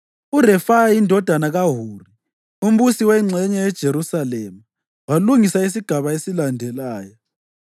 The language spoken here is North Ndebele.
URefaya indodana kaHuri, umbusi wengxenye yeJerusalema, walungisa isigaba esilandelayo.